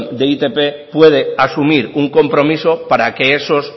de e i te be puede asumir un compromiso para que esos